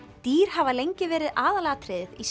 dýr hafa lengi verið aðalatriðið í